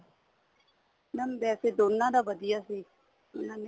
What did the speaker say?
mam ਵੈਸੇ ਦੋਨਾ ਦਾ ਵਧੀਆ ਸੀ ਦੋਨਾ ਨੇ